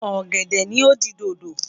Ọ̀gẹ̀dẹ̀ ni ó di dodo.